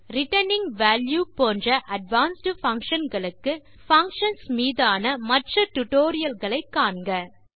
returning value போன்ற advanced function களுக்கு functions மீதான மற்ற டியூட்டோரியல் களை காண்க